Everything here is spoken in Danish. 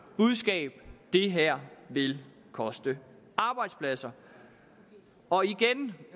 budskab det her vil koste arbejdspladser og igen